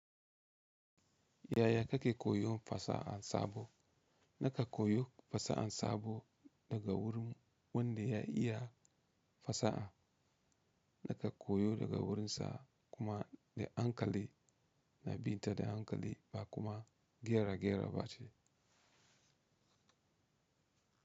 Yaya kake koyon fasa'an sabo? Naka koyo fasaha sabo daga wurin wanda ya iya fasaha. Naka koyo daga wurinsa kuma da hankali, na bin ta da hankali ba kuma gera gera ba ce.